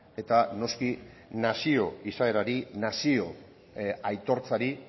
eta noski nazio izaerari nazio aitortzari